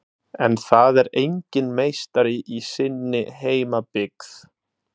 En það er enginn meistari í sinni heimabyggð.